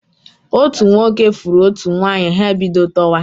Otu nwoke fụrụ otu nwanyi, ha ebido tọwa.